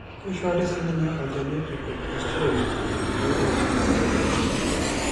keishori sii ninye olchani oji Corticosteroids pee eishu enkidapashata